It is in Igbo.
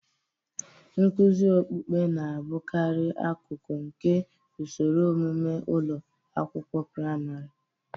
Nkuzi okpukpe na-abụkarị akụkụ nke usoro ọmụmụ ụlọ akwụkwọ praịmarị.